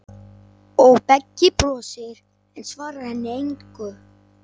Og Beggi brosir, en svarar henni engu.